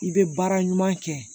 I bɛ baara ɲuman kɛ